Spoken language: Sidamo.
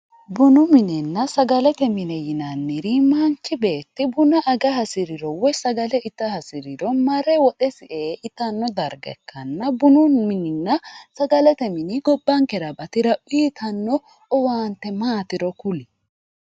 Bunu minenna sagalete mine yinanniri manchi beetti buna aga hasiriro woyi sagale ita hasiriro marre woxesi ee itano darga ikkanna bunu mininna sagalete mini gobbankera baxira uyittano owaante maatiro ku'lie ?